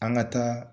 An ka taa